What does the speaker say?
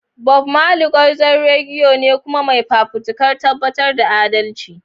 Bob Marley, gwarzon reggae ne kuma mai fafutukar tabbatar da adalci.